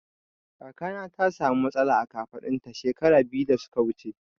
Kakana ta sa mu matsala a kafaɗun ta shekara biyu da suka wuce